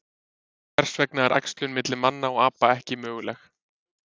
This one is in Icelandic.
Hvers vegna er æxlun milli manna og apa ekki möguleg?